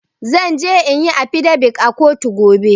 Zan je inyi affidavit a kotu gobe.